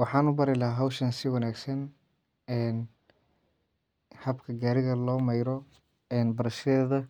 Waxan ubari laha hoowshan si wanaagsan habka gaariga lo meeyro barashadheedha